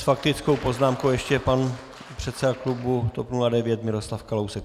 S faktickou poznámkou ještě pan předseda klubu TOP 09 Miroslav Kalousek.